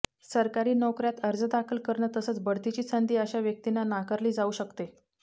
सरकारी नोकऱ्यात अर्ज दाखल करणं तसंच बढतीची संधी अशा व्यक्तींना नाकारली जाऊ शकते